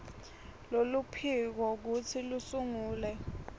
loluphiko kutsi lusungule